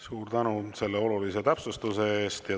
Suur tänu selle olulise täpsustuse eest!